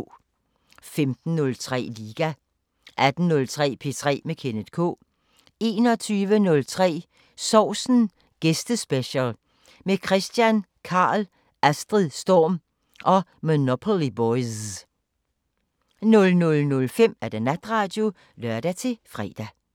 15:03: Liga 18:03: P3 med Kenneth K 21:03: Sovsen Gæstespecial – med Kristian Karl, Astrid Storm og Monopoly Boyz 00:05: Natradio (lør-fre)